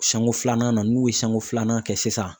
Siɲɛko filanan na n'u ye siɲɛko filanan kɛ sisan